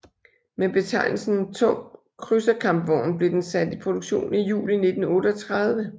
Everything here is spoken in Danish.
Med betegnelsen tung krydserkampvogn blev den sat i produktion i juli 1938